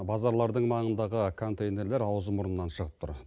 базарлардың маңындағы контейнерлер ауызы мұрнынан шығып тұр